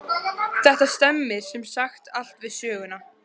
Þetta stemmir sem sagt allt við söguna.